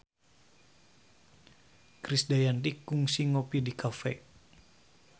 Krisdayanti kungsi ngopi di cafe